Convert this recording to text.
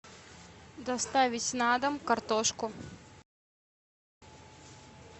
доставить на дом картошку